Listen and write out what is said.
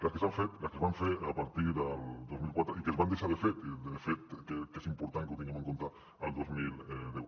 les que s’han fet les que es van fer a partir del dos mil quatre i que es van deixar de fer i de fet és important que ho tinguem en compte el dos mil deu